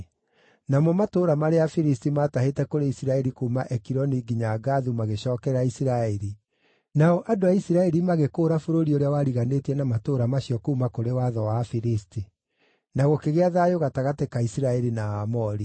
Namo matũũra marĩa Afilisti maatahĩte kũrĩ Isiraeli kuuma Ekironi nginya Gathu magĩcookerera Isiraeli, nao andũ a Isiraeli magĩkũũra bũrũri ũrĩa wariganĩtie na matũũra macio naguo kuuma kũrĩ watho wa Afilisti. Na gũkĩgĩa thayũ gatagatĩ ka Isiraeli na Aamori.